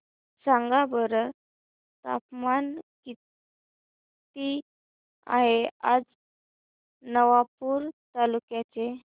सांगा बरं तापमान किता आहे आज नवापूर तालुक्याचे